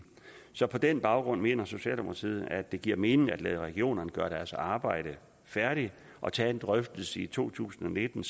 så på den baggrund mener socialdemokratiet at det giver mening at lade regionerne gøre deres arbejde færdigt og tage en drøftelse i to tusind og nitten